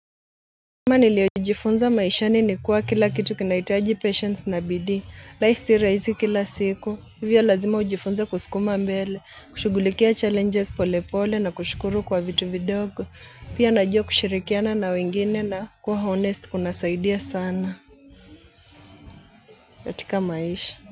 Nima niliojifunza maishani ni kuwa kila kitu kinahitaji patience na bidii, life si rahisi kila siku, hivyo lazima ujifunze kuskuma mbele, kushughulikia challenges pole pole na kushukuru kwa vitu vidogo pia najua kushirikiana na wengine na kuwa honest kuna saidia sana, katika maisha.